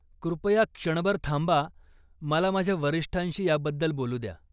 कृपया क्षणभर थांबा. मला माझ्या वरिष्ठांशी ह्याबद्दल बोलू द्या.